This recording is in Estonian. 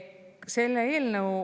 Selle eelnõu …